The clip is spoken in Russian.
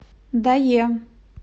дае